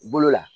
Bolo la